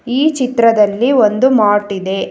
ಈ ಚಿತ್ರದಲ್ಲಿ ಒಂದು ಮಾರ್ಟ್ ಇದೆ.